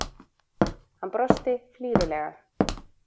Hann brosti flírulega.